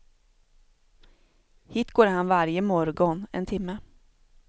Hit går han varje morgon en timme.